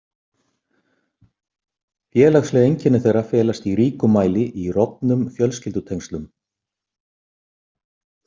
Félagsleg einkenni þeirra felast í ríkum mæli í rofnum fjölskyldutengslum.